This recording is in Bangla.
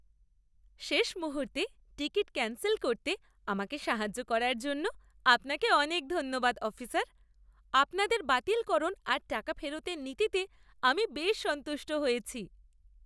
শেষ মুহূর্তে টিকিট ক্যান্সেল করতে আমাকে সাহায্য করার জন্য আপনাকে অনেক ধন্যবাদ, অফিসার; আপনাদের বাতিলকরণ আর টাকা ফেরতের নীতিতে আমি বেশ সন্তুষ্ট হয়েছি।